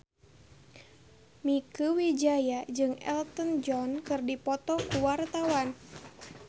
Mieke Wijaya jeung Elton John keur dipoto ku wartawan